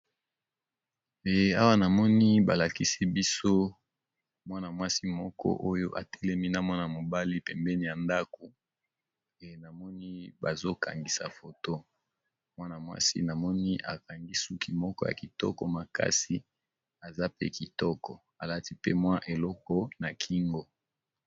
e awa namoni balakisi biso mwana mwasi moko oyo atelemi na mwana mobali pembeni ya ndako namoni bazokangisa foto mwana-mwasi namoni akangi suki moko ya kitoko makasi aza pe kitoko alati pe mwa eloko na kingo